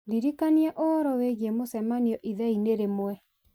ndirikania ũhoro wĩgiĩ mũcemanio ithaa-inĩ rĩmwe